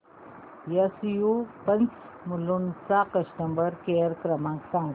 SU pumps Mulund चा customer care क्रमांक सांगा